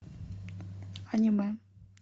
аниме